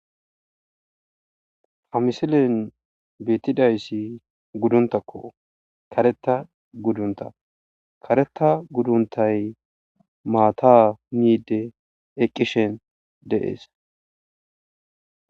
Ha misilen beetidaysi guduntako, kareta gudunta , kareta guduntay maata miide eqishin de'esi.